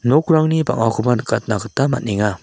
nokrangni bang·akoba nikatna gita man·enga.